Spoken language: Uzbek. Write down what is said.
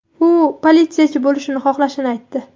U politsiyachi bo‘lishni xohlashini aytdi.